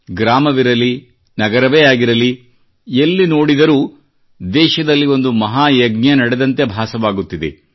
ಗ್ರಾಮವಿರಲಿ ನಗರವೇ ಆಗಿರಲಿ ಎಲ್ಲಿ ನೋಡಿದರೂ ದೇಶದಲ್ಲಿ ಒಂದು ಮಹಾಯಜ್ಞ ನಡೆದಂತೆ ಭಾಸವಾಗುತ್ತಿದೆ